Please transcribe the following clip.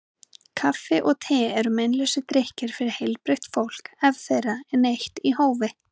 Kaffi og te eru meinlausir drykkir fyrir heilbrigt fólk ef þeirra er neytt í hófi.